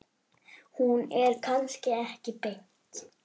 Hún er kannski ekki beint.